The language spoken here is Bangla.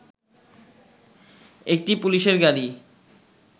একটি পুলিশের গাড়ি